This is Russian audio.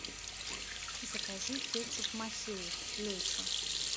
закажи кетчуп махеев лечо